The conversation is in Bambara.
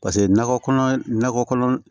Paseke nakɔ kɔnɔ nakɔ kɔnɔ